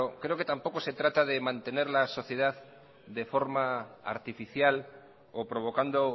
creo que tampoco se trata de mantener la sociedad de forma artificial o provocando